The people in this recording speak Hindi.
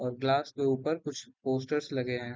और गिलास के ऊपर कुछ पोस्टरस लगे हैं।